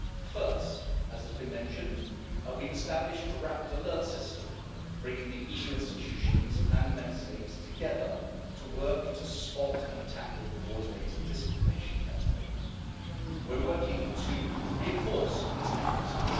First, as has been mentioned, we've established a rapid alert system bringing the EU institutions and the Member States together to work to spot and tackle coordinated disinformation campaigns. We're working to reinforce this mechanism.